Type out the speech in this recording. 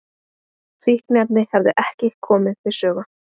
Fíkniefni hefðu ekki komið við sögu